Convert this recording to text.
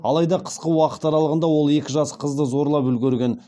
алайда қысқа уақыт аралығында ол екі жас қызды зорлап үлгерген